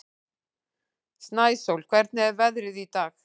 Snæsól, hvernig er veðrið í dag?